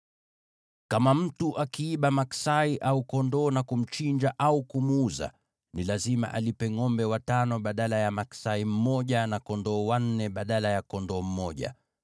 “Kama mtu akiiba maksai au kondoo na kumchinja au kumuuza, ni lazima alipe ngʼombe watano badala ya maksai mmoja na kondoo wanne badala ya kondoo mmoja.